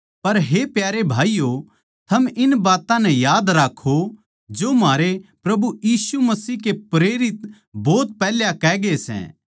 पर हे प्यारे भाईयो थम इन बात्तां नै याद राक्खो जो म्हारे प्रभु यीशु मसीह के प्रेरित भोत पैहल्याए कहगे सै